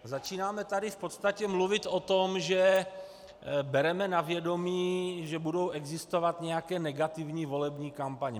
Začínáme tady v podstatě mluvit o tom, že bereme na vědomí, že budou existovat nějaké negativní volební kampaně.